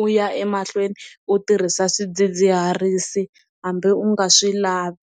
u ya emahlweni u tirhisa swidzidziharisi hambi u nga swi lavi.